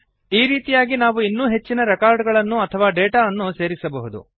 ಈ ರೀತಿಯಾಗಿ ನಾವು ಇನ್ನೂ ಹೆಚ್ಚಿನ ರೆಕಾರ್ಡ್ ಗಳನ್ನು ಅಥವಾ ಡೇಟಾ ಅನ್ನು ಸೇರಿಸಬಹುದು